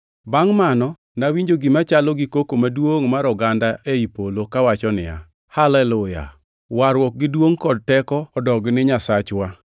Bangʼ mano, nawinjo gima chalo gi koko maduongʼ mar oganda ei polo kawacho niya, “Haleluya! Warruok gi duongʼ kod teko odog ne Nyasachwa,